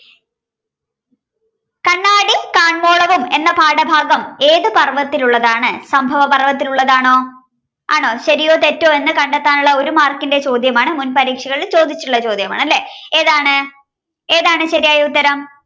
കണ്ണാടി കാൺവോളവും എന്ന പാഠഭാഗം ഏതു പർവ്വത്തിലുള്ളതാണ്? സംഭവപർവത്തിലുള്ളതാണോ ആണോ ശരിയോ തെറ്റോ കണ്ടെത്താനുള്ള ഒരു mark ൻ്റെ ചോദ്യമാണ് മുൻപരീക്ഷകളിൽ ചോദിച്ചിട്ടുളള ചോദ്യമാണ് അല്ലേ ഏതാണ്ഏതാണ് ശരിയായ ഉത്തരം?